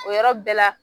O yɔrɔ bɛɛ la